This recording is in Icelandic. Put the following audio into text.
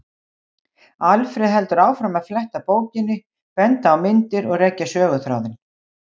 Alfreð heldur áfram að fletta bókinni, benda á myndir og rekja söguþráðinn.